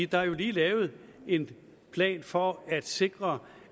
der er jo lige lavet en plan for at sikre